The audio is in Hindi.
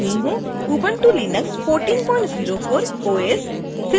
ubuntu linux 1404 os